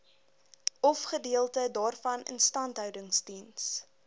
ofgedeelte daarvan instandhoudingsdiens